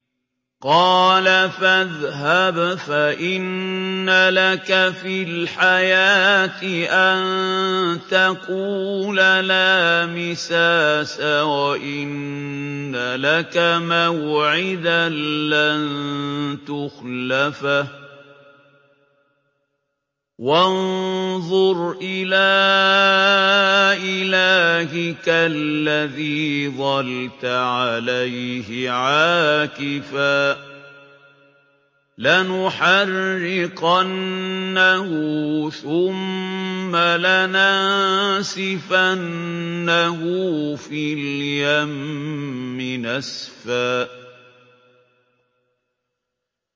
قَالَ فَاذْهَبْ فَإِنَّ لَكَ فِي الْحَيَاةِ أَن تَقُولَ لَا مِسَاسَ ۖ وَإِنَّ لَكَ مَوْعِدًا لَّن تُخْلَفَهُ ۖ وَانظُرْ إِلَىٰ إِلَٰهِكَ الَّذِي ظَلْتَ عَلَيْهِ عَاكِفًا ۖ لَّنُحَرِّقَنَّهُ ثُمَّ لَنَنسِفَنَّهُ فِي الْيَمِّ نَسْفًا